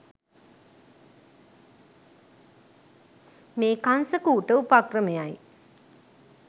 මේ කංස කූට උපක්‍රමයයි.